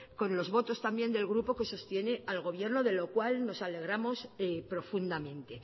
con los votos también del grupo que sostiene al gobierno de lo cual nos alegramos profundamente